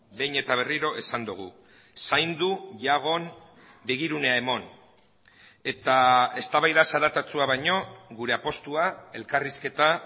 behin eta berriro esan dugu zaindu jagon begirunea eman eta eztabaida zaratatsua baino gure apustua elkarrizketa